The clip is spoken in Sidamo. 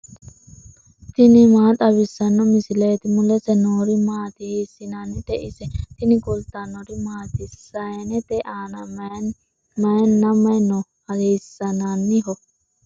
tini maa xawissanno misileeti ? mulese noori maati ? hiissinannite ise ? tini kultannori maati? Sayiinnette aanna mayiinna mayi noo? hiisinaniho?